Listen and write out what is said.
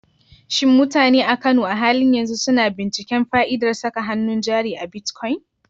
Shin mutane a Kano a halin yanzu suna binciken fa'idar saka hannun jari a bitcoin?